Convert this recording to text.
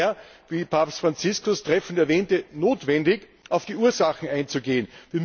Es ist daher wie Papst Franziskus treffend ewähnte notwendig, auf die Ursachen einzugehen.